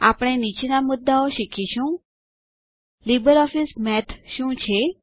આપણે નીચેના મુદ્દાઓ શીખીશું લીબરઓફીસ મેથ શું છે